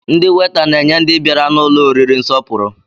Ndị weta na-enye ndị bịara n'ụlọ oriri nsọpụrụ